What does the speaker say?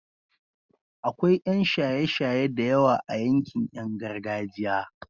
akwai Yan shaye shaye da yawa a yankin Yan gargajiya